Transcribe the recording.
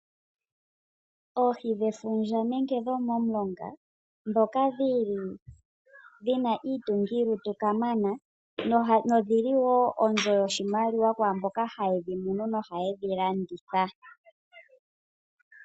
Oohi dhefundja nenge dhomomulonga ndhoka dhili dhina iitungilutu kamana, nodhili wo onzo yoshimaliwa kwaamboka haye dhimunu nohaye dhi landitha.